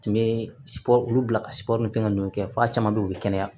Tun bɛ olu bila ka sibo ni fɛn nunnu kɛ f'a caman be yen u be kɛnɛya